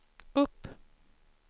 upp